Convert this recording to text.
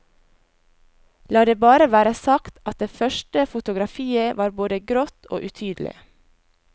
La det bare være sagt at det første fotografiet var både grått og utydelig.